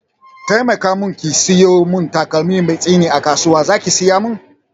Taimaka mun ki sayo mun takalmi mai tsini a kasuwa, zaki saya mun?